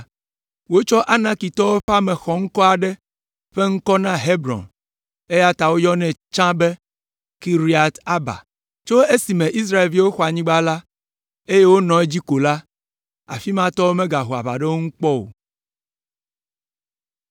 Wotsɔ Anakitɔwo ƒe ame xɔŋkɔ aɖe ƒe ŋkɔ na Hebron, eya ta woyɔnɛ tsã be, Kiriat Arba. Tso esime Israelviwo xɔ anyigba la, eye wonɔ edzi ko la, afi ma tɔwo megaho aʋa ɖe wo ŋu kpɔ o.